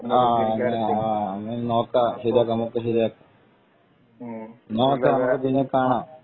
നോക്കാം നമ്മക്ക് ശെരിയാകാം എന്നാ ഒക്കെ നമ്മക്ക് പിന്നെ കാണാം